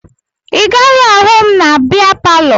Ị gaghị ahụ m na bịa palọ